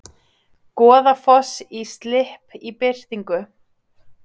Goðafoss í slipp í birtingu